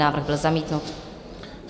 Návrh byl zamítnut.